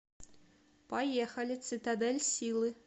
поехали цитадель силы